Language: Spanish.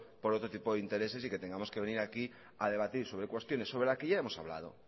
por otro tipo de intereses y que tengamos que venir aquí a debatir sobre cuestiones sobre la que ya hemos hablado